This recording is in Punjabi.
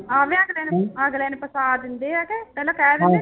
ਉਹ ਵੀ ਅਗਲੇ ਨੂੰ ਅਗਲੇ ਨੂੰ ਫਸਾ ਦਿੰਦੇ ਆ ਕਿ ਪਹਿਲਾਂ ਕਹਿ ਦਿੰਦੇ